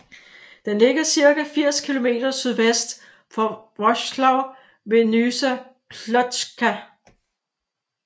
Den ligger cirka 80 kilometer sydvest for Wrocław ved Nysa Kłodzka